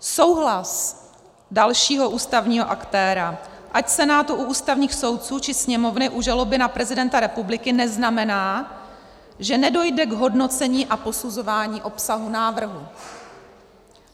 Souhlas dalšího ústavního aktéra, ať Senátu u ústavních soudců, či Sněmovny u žaloby na prezidenta republiky, neznamená, že nedojde k hodnocení a posuzování obsahu návrhu.